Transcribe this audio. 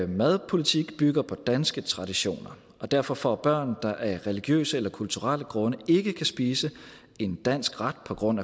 madpolitik bygger på danske traditioner og derfor får børn der af religiøse eller kulturelle grunde ikke kan spise en dansk ret på grund